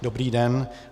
Dobrý den.